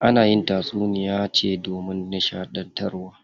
Ana yin tatsuniya ce domin nishaɗantarwa.